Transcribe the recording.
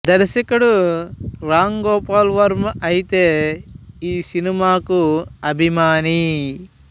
దర్శకుడు రామ్ గోపాల్ వర్మ అయితే ఈ సినిమాకు అభిమాని